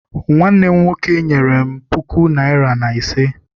Nwanne m nwoke nyere m puku naịra na ise.